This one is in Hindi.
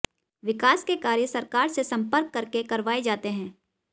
विकास के कार्य सरकार से सम्पर्क करके करवाये जाते हैं